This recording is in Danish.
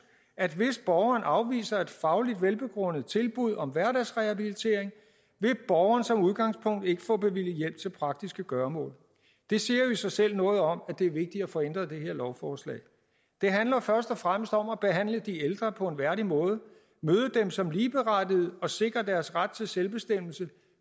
at hvis borgeren afviser et fagligt velbegrundet tilbud om hverdagsrehabilitering vil borgeren som udgangspunkt ikke få bevilget hjælp til praktiske gøremål det siger jo i sig selv noget om at det er vigtigt at få ændret det her lovforslag det handler først og fremmest om at behandle de ældre på en værdig måde møde dem som ligeberettigede og sikre deres ret til selvbestemmelse